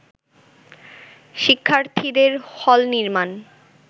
শিক্ষার্থীদের হল নির্মাণ